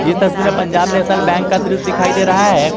तस्वीर में Punjab National Bank का दृश्य दिखाई दे रहा है।